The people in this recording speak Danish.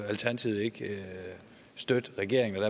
alternativet ikke støtter regeringen